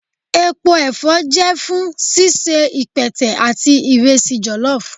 Epo ẹfọ jẹ fun ṣiṣe ipẹtẹ ati iresi jollof.